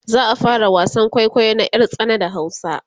za'a fara wasan kwaikwayo na ƴar tsana da hausa